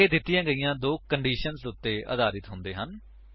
ਇਹ ਦਿੱਤੀਆਂ ਗਈਆਂ ਦੋ ਕੰਡੀਸ਼ੰਸ ਉੱਤੇ ਆਧਾਰਿਤ ਹੁੰਦੇ ਹਨ